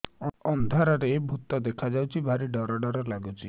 ଅନ୍ଧାରରେ ଭୂତ ଦେଖା ଯାଉଛି ଭାରି ଡର ଡର ଲଗୁଛି